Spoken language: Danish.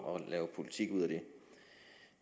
at lave politik ud af det